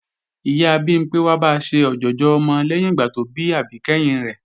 Ìyá Bimpé wá ba ṣe ọ̀jọ̀jọ̀ ọmọ lẹ́yìn ìgbà tó bí àbí kẹ́hìn rẹ̀